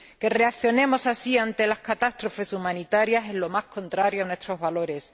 Que reaccionemos así ante las catástrofes humanitarias es lo más contrario a nuestros valores.